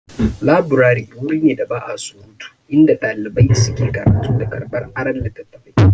Laburari wuri ne da ba'a surutu, inda ɗalibai suke karatu da karɓar aron littattafai.